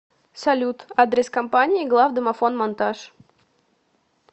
салют адрес компании главдомофонмонтаж